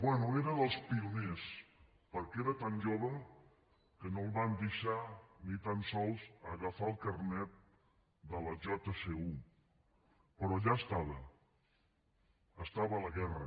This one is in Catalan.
bé era dels pioners perquè era tan jove que no el van deixar ni tan sols agafar el carnet de la jsu però allà estava estava a la guerra